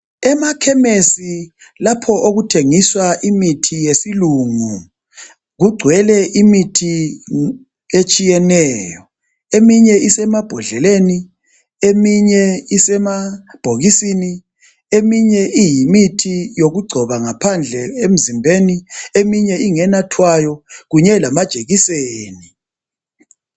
Emakhemisi lapho okuthengiswa khona imithi yesilungu kugcwele imithi etshiyeneyo eminye isembodleleni eminye isemabhokisini eminye iyimithi yokugcoba ngaphandle emzimbeni. Eminye ingenathwayo kunye lamajekiseni.